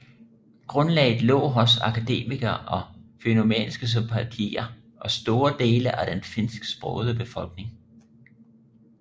Grundlaget lå hos akademikere med fennomanske sympatier og store dele af den finsksprogede befolkning